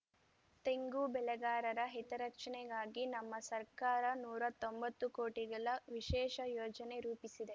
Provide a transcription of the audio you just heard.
ತೆಂಗು ಬೆಳೆಗಾರರ ಹಿತರಕ್ಷಣೆಗಾಗಿ ನಮ್ಮ ಸರ್ಕಾರ ನೂರಾ ತೊಂಬತ್ತು ಕೋಟಿಗಳ ವಿಶೇಷ ಯೋಜನೆ ರೂಪಿಸಿದೆ